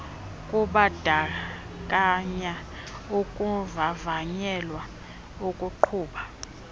kubandakanya ukuvavanyelwa ukuqhuba